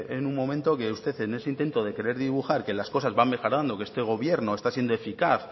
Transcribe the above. en un momento que usted en ese intento de querer dibujar que las cosas van mejorando que este gobierno está siendo eficaz